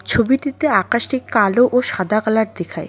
ছবিটিতে আকাশটি কালো ও সাদা কালার দেখায়।